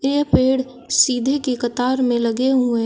यह पेड़ सीधे के कतार में लगे हुए--